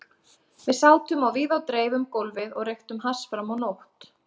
Við sátum á víð og dreif um gólfið og reyktum hass fram á nótt.